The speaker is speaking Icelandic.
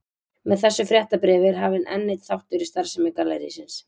Með þessu fréttabréfi er hafinn enn einn þáttur í starfsemi gallerísins.